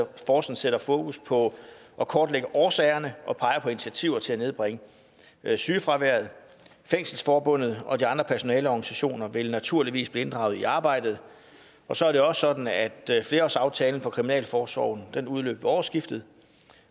taskforcen sætter fokus på at kortlægge årsagerne til og pege på initiativer til at nedbringe sygefraværet fængselsforbundet og de andre personaleorganisationer vil naturligvis blive inddraget i arbejdet så er det også sådan at flerårsaftalen for kriminalforsorgen udløb ved årsskiftet